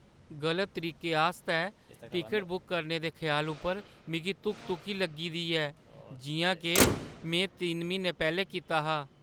गलत तरीका आस्तै टिकट बुक करने दे ख्याल उप्पर मिगी धुक-धुकी लग्गी दी ऐ, जिʼयां के मैं तिन म्हीने पैह्‌लें कीता हा।